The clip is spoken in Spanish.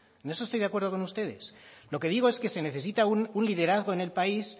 en eso estoy de acuerdo con ustedes lo que digo es que se necesita un liderazgo en el país